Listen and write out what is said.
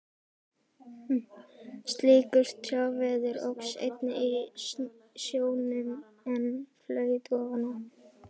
Slíkur trjáviður óx einnig í sjónum, en flaut ofan á.